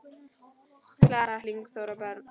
Klara, Lingþór og börn.